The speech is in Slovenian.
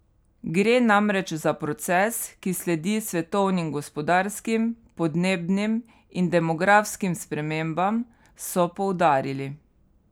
Gre namreč za proces, ki sledi svetovnim gospodarskim, podnebnim in demografskim spremembam, so poudarili.